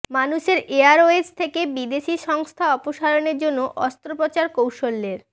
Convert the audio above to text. মানুষের এয়ারওয়েজ থেকে বিদেশী সংস্থা অপসারণের জন্য অস্ত্রোপচার কৌশলের